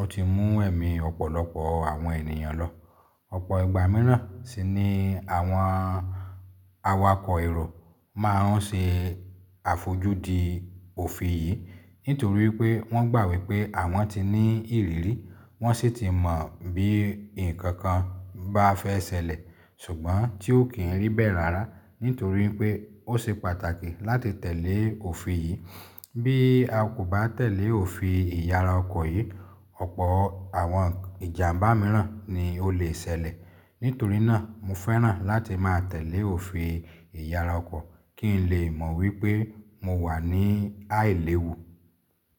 ó ti mú ẹ̀mí ọ̀pọ̀lọpọ̀ àwọn ènìyàn lọ. Ọ̀pọ̀ ìgbà mìíràn sì ni àwọn awakọ̀ èrò máa ń ṣe àfojú di òfin yìí nítorí pé wọ́n gbà wípé àwọn ti ní ìrírí, wọ́n sì ti mọ bí ǹkan kan bá fẹ́ ṣẹlẹ̀ ṣùgbọ́n tí ó kì n rí bẹ̀ rara nítorí pé ó ṣe pàtàkì láti tẹ̀lé òfin yìí. Bí a kò bá tẹ̀lé òfin ìyara ọkọ̀ yìí, ọ̀pọ̀ àwọn ìjàmbá mìíràn ni ó lè ṣẹlẹ̀. Nítorí náà mo fẹ́ràn láti máa tẹ̀lé òfin ìyara ọkọ̀ kí n lè mọ̀ wípé mo wà ní àìléwu.